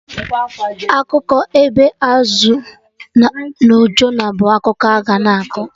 Akụkọ ebe Azụ no Jonah bụ akụkọ a-ga na akọ